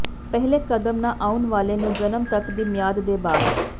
ਪਹਿਲੇ ਕਦਮ ਨਾ ਆਉਣ ਵਾਲੇ ਨੂੰ ਜਨਮ ਤੱਕ ਦੀ ਮਿਆਦ ਦੇ ਬਾਅਦ